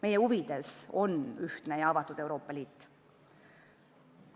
Meie huvides on ühtne ja avatud Euroopa Liit.